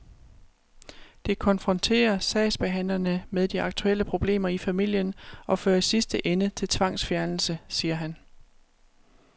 Det konfronterer sagsbehandlerne med de aktuelle problemer i familien og fører i sidste ende til tvangsfjernelse, siger han.